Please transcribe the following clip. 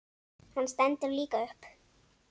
Hann stendur líka upp.